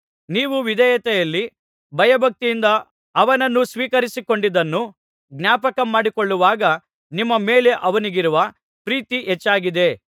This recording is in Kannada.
ನೀವು ವಿಧೇಯತೆಯಲ್ಲಿ ಭಯಭಕ್ತಿಯಿಂದ ಅವನನ್ನು ಸ್ವೀಕರಿಸಿಕೊಂಡಿದ್ದನ್ನು ಜ್ಞಾಪಕಮಾಡಿಕೊಳ್ಳುವಾಗ ನಿಮ್ಮ ಮೇಲೆ ಅವನಿಗಿರುವ ಪ್ರೀತಿ ಹೆಚ್ಚಾಗಿದೆ